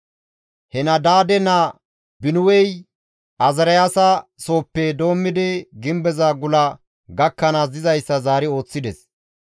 Henadaade naa Binuwey Azaariyaasa sooppe doommidi gimbeza gula gakkanaas dizayssa zaari ooththides.